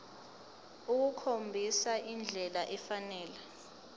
ukukhombisa indlela efanele